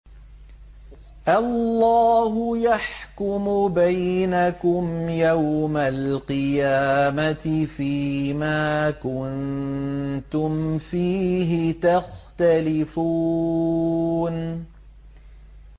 اللَّهُ يَحْكُمُ بَيْنَكُمْ يَوْمَ الْقِيَامَةِ فِيمَا كُنتُمْ فِيهِ تَخْتَلِفُونَ